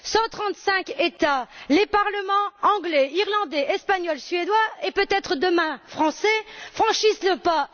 Cent trente cinq États, les parlements anglais, irlandais, espagnol, suédois et, peut être demain, français franchissent le pas.